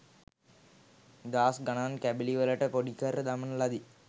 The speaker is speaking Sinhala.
දහස්ගණන් කැබලි වලට පොඩිකර දමන ලදී.